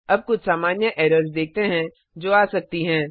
अब कुछ सामान्य एरर्स देखते हैं जो आ सकती हैं